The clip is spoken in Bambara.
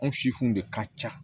Anw sifu de ka ca